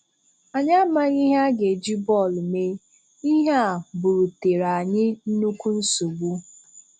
Anyị amaghị ihe a ga-eji bọọlụ mee, ihe a bú̀rùtèrè anyị nnukwu nsogbu.